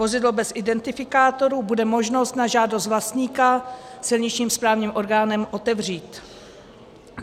Vozidlo bez identifikátoru bude možno na žádost vlastníka silničním správním orgánem otevřít.